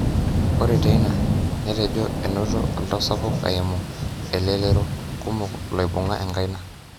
Ore teina, netejo enoto oltau sapuk eimu elelero kumok loibunga enkaina.